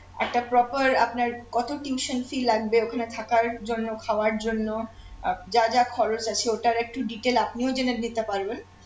একটা proper আপনার কত tuition fee লাগবে ওখানে থাকার জন্য খাওয়ার জন্য আহ যা যা খরচ আছে ওটার একটু detail আপনিও জেনে নিতে পারবেন